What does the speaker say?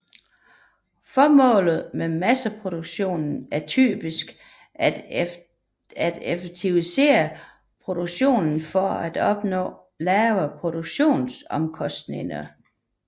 Formålet med masseproduktion er typisk at effektivisere produktionen for at opnå lavere produktionsomkostninger